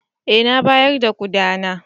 Eh na bayar da koda na.